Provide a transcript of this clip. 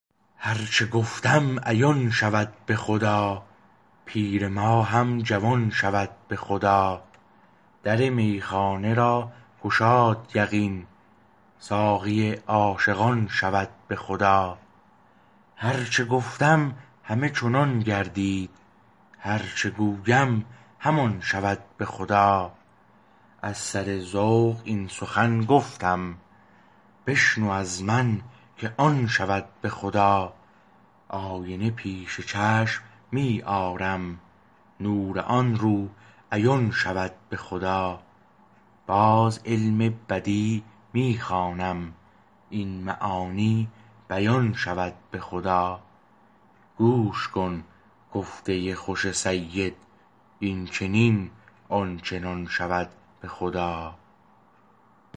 هر چه گفتم عیان شود به خدا پیر ما هم جوان شود به خدا در میخانه را گشاد یقین ساقی عاشقان شود به خدا هر چه گفتم همه چنان گردید هر چه گویم همان شود به خدا از سر ذوق این سخن گفتم بشنو از من که آن شود به خدا آینه پیش چشم می آرم نور آن رو عیان شود به خدا باز علم بدیع می خوانم این معانی بیان شود به خدا گوش کن گفته خوش سید این چنین آن چنان شود به خدا